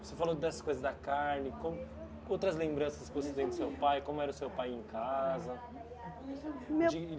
Você falou dessas coisas da carne, como outras lembranças que você tem do seu pai, como era o seu pai em casa.